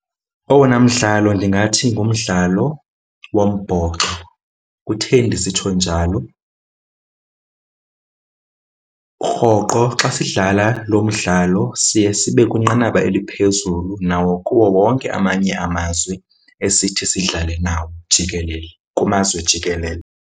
Owona mdlalo ndingathi ngumdlalo wombhoxo Kutheni ndisitsho njalo? Rhoqo xa sidlala lo mdlalo siye sibe kwinqanaba eliphezulu nawo kuwo wonke amanye amazwe esithi sidlale nawo jikelele, kumazwe jikelele.